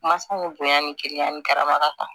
Masaw ye bonya ni kiri ni karama ta ye